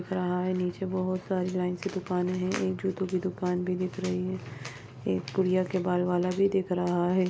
दिख रहा है नीचे बहुत सारी लाइन से दुकाने है एक जूतों की दुकान भी दिख रही है एक गुड़िया के बाल वाला भी दिख रहा है।